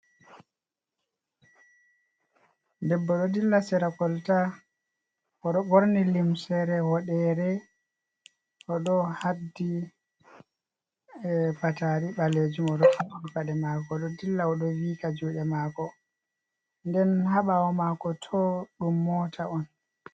Debbo ɗo dilla sera kolta, oɗo ɓorni limsere woɗere, oɗo haddi patari ɓalejum, oɗo haɓɓi paɗe mako oɗo dilla, oɗo viika juɗe maako, nden haa ɓawo mako tooh ɗum mota on.